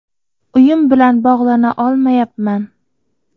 Uyim bilan bog‘lana olmayapman.